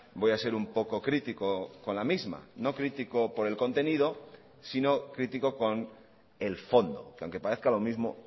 voy a ser un poco crítico con la misma no crítico por el contenido sino crítico con el fondo que aunque parezca lo mismo